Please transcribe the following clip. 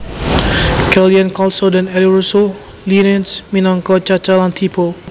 Kellyann Kelso dan Eli Russell Linnetz minangka Chaca lan Tipo